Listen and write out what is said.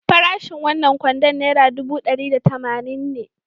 Farashin wannan kwandon naira ɗubu ɗari da tamanin ne.